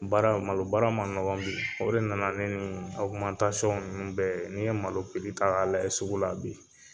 Baara, malo baara ma nɔgɔn bi. O de nana ni nin ninnu bɛɛ ye, n'i ye malo piri ta ka lajɛ sugu la bi,